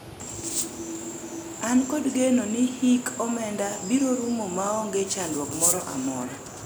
an kod geno ni hik omenda biro rumo maonge chandruok moro amora